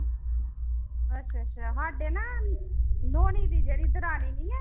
ਅੱਛਾ ਅੱਛਾ ਸਾਡੇ ਨਾ ਨੋਣੀ ਦੀ ਜਿਹੜੀ ਦਰਾਣੀ ਨੀ ਹੈ,